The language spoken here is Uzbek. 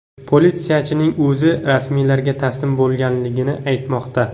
Politsiyachining o‘zi rasmiylarga taslim bo‘lgani aytilmoqda.